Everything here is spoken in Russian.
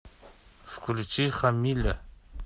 включи хамиля